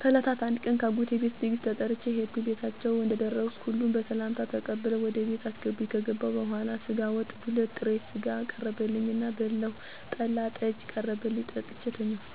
ከእለታት አንድ ቀን ከአጎቴ ቤት ድግስ ተጠርቼ ሄድኩ ቤታቸው እንደደረስኩ ሁሉም በሰላምታ ተቀብለው ወደ ቤት አስገቡኝ ከገበሁ በኋላ ስጋ ወጡ፣ ዱለት፣ ጥሬ ስጋ ቀረበልኝ እና በላሁ ጠላና ጠጅም ቀረበልኝና ጠጥቼ ተኛሁ።